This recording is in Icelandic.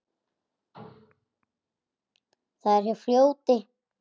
Það er hjá fljóti.